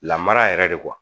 Lamara yɛrɛ de